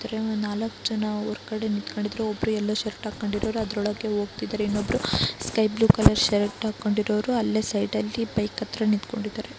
ಅದ್ರೆ ನಾಲಕ್ ಜನ ಒರ್ಗಡೆ ನಿತ್ಕೊಂಡಿದ್ರ್ ಒಬ್ರು ಯಲ್ಲೊಶರ್ಟ್ ಅಕೊಂಡಿರೋರ್ ಅದ್ರೊಳಗೆ ಓಗ್ತಿದಾರ್ ಇನ್ನೊಬ್ರು ಸ್ಕೈಬ್ಲೂ ಕಲ್ಲರ್ ಶರ್ಟ್ ಅಕೊಂಡಿರೋರು ಅಲ್ಲೇ ಸೈಡ್ ಅಲ್ಲಿ ಬೈಕ್ ಹತ್ರ ನಿತ್ಕೊಂಡಿದಾರೆ.